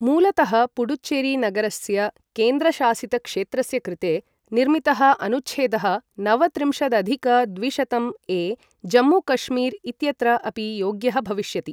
मूलतः, पुडुच्चेरी नगरस्य केन्द्रशासितक्षेत्रस्य कृते, निर्मितः अनुच्छेदः नवत्रिंशदधिक द्विशतं ए जम्मू कश्मीर् इत्यत्र अपि योग्यः भविष्यति।